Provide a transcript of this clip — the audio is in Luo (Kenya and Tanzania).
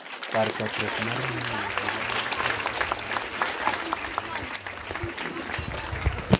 Kar chakruok mar dweni, obila mag Indonesia nomako ji apar kod ang`wen e boma mar Surabaya.